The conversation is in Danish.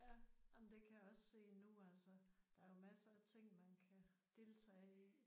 Ja jamen det kan jeg også se nu altså. Der er jo masser af ting man kan deltage i